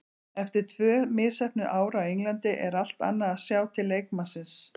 Eftir tvö misheppnuð ár á Englandi er allt annað að sjá til leikmannsins.